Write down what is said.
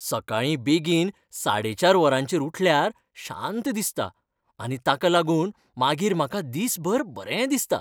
सकाळीं बेगीन साडे चार वरांचेर उठल्यार शांत दिसता आनी ताका लागून मागीर म्हाका दिसभर बरें दिसता.